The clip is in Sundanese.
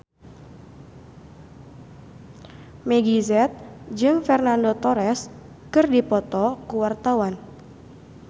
Meggie Z jeung Fernando Torres keur dipoto ku wartawan